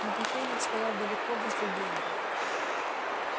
но кофейник стоял далеко возле генри